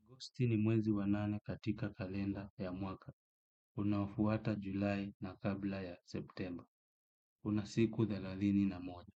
Agosti ni mwezi wanane katika kalenda ya mwaka. Unaofuata julai na kabla ya september. Unasiku thelathini na moja.